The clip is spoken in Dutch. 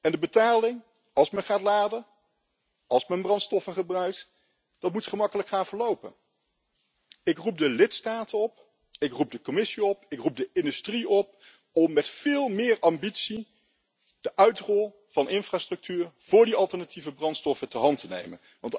En de betaling, als men gaat laden, als men brandstoffen gebruikt, moet gemakkelijk gaan verlopen. Ik roep de lidstaten op, ik roep de Commissie op, ik roep de industrie op om met veel meer ambitie de uitrol van infrastructuur voor die alternatieve brandstoffen ter hand te nemen.